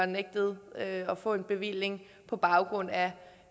nægtet at få en bevilling på baggrund af